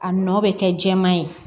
A nɔ bɛ kɛ jɛman ye